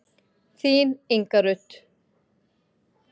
Þín, Inga Rut.